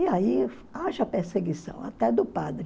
E aí, haja perseguição, até do padre.